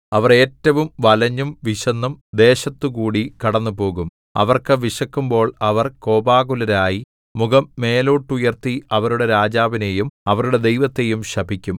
അവർ ഏറ്റവും വലഞ്ഞും വിശന്നും ദേശത്തുകൂടി കടന്നുപോകും അവർക്ക് വിശക്കുമ്പോൾ അവർ കോപാകുലരായി മുഖം മേലോട്ടുയർത്തി അവരുടെ രാജാവിനെയും അവരുടെ ദൈവത്തെയും ശപിക്കും